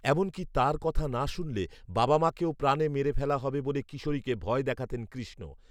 এমনকি, তাঁর কথা না শুনলে বাবা মাকেও প্রাণে মেরে ফেলা হবে বলে কিশোরীকে ভয় দেখাতেন কৃ্ষ্ণ